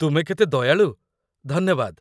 ତୁମେ କେତେ ଦୟାଳୁ, ଧନ୍ୟବାଦ।